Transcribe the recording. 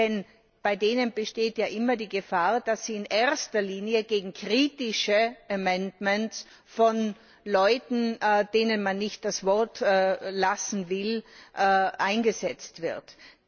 Denn bei denen besteht ja immer die Gefahr, dass sie in erster Linie gegen kritische Änderungsanträge von Leuten, denen man nicht das Wort lassen will, eingesetzt werden.